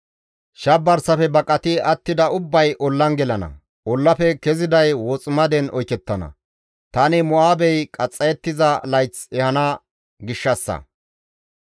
«Shabarsafe baqati attida ubbay ollan gelana; ollafe keziday woximaden oykettana; tani Mo7aabey qaxxayettiza layth ehana gishshassa.